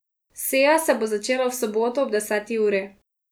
Seja se bo začela v soboto ob deseti uri.